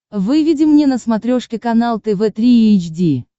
выведи мне на смотрешке канал тв три эйч ди